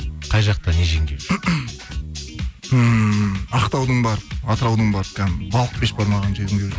қай жақта не жегің келіп жүр ммм ақтаудың барып атыраудың барып балық бешбармағын жегім келіп жүр